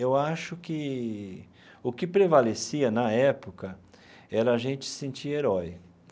Eu acho que o que prevalecia na época era a gente se sentir herói.